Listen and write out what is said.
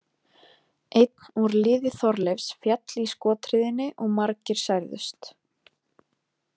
Einn úr liði Þorleifs féll í skothríðinni og margir særðust.